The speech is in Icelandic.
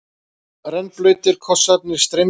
Rennblautir kossarnir streymdu.